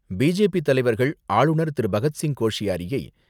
பி.ஜே.பி.தலைவர்கள் ஆளுநர் திரு.பகத்சிங் கோஷியாரியை